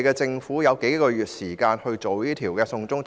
政府有數個月時間處理"送中"法案。